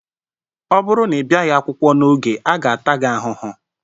Ọ bụrụ na ịbiaghi akwụkwọ n'oge, a ga ata gị ahụhụ!